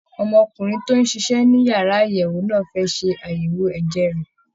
Ọmọkùnrin tó ń ṣiṣẹ́ ní yàrá àyẹ̀wò náà fẹ́ ṣe àyẹ̀wò ẹ̀jẹ̀ rẹ̀